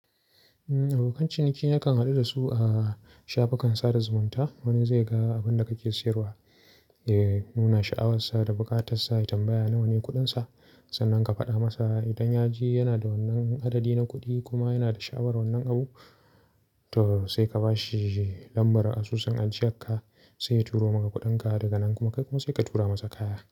Abokan ciniki yakan haɗu da su a shafukan sada zumunta. Wani zai ga abin da kake siyarwa, ya nuna sha'awar sa da buƙatar sa, ya tambaya nawane kuɗin sa. Sannan ka faɗa masa idan ya je yana da wannan adadi na kuɗi kuma yana da sha'awar wannan abu, to sai ka bashi lambar asusun ajiyarka sai ya turo maka kuɗin ka daga nan kuma kai kuma sai ka tura masa kaya.